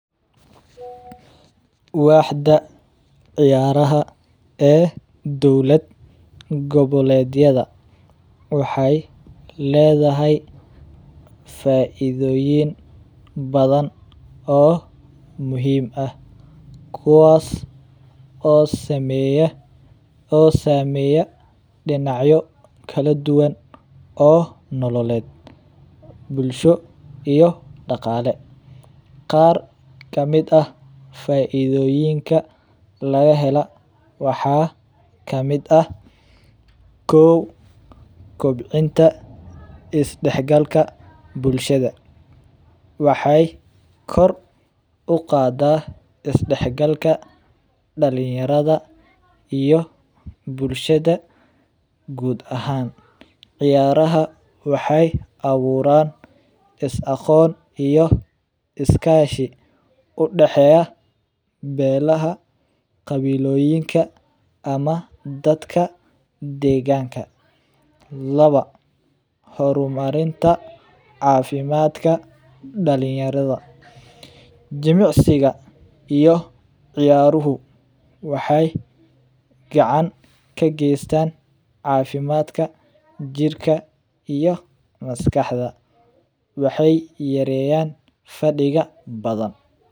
Waxda ciyaraha ee dowlada gobaledyada waxay ledahay faidoyin badan oo muxiim ah kuwas oo sameya dinacyo kaladuwan oo nololed, bulsho iyo dagale, waxa kamid ah faidoyinka lagahelo waxa kamid ah kow kobcinta isdahgalka bulshada, waxay kor ugadaa isdahgalka dalinyarada iyo bulshada guud ahan, ciyaraha waxay awuraan isaqoon iyo iskashi, udaheya belaha qawiloyinka ama dadka deganka, lawa hormarinta cafimadka dalinyarada, jimicsiga iyo ciyaruhu waxay gacan kegestaan cafimadka jirka iyo maskaxda, waxay yareyaan fadiga badan.